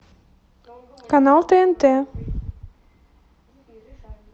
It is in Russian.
канал тнт